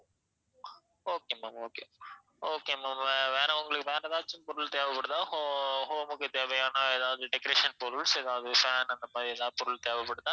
okay ma'am okay okay ma'am வே~ வேற உங்களுக்கு வேற ஏதாச்சும் பொருள் தேவைப்படுதா ho~ home க்கு தேவையான எதாவது decoration பொருள்ஸ் எதாவது fan அந்த மாதிரி எதாவது பொருள் தேவைப்படுதா?